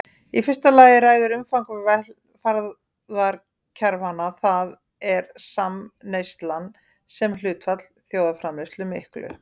Í fyrsta lagi ræður umfang velferðarkerfanna, það er samneyslan sem hlutfall þjóðarframleiðslu miklu.